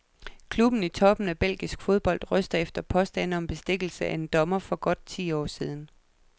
Klubben i toppen af belgisk fodbold, ryster efter påstande om bestikkelse af en dommer for godt ti år siden.